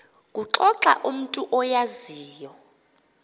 kuxoxa umntu oyaziyo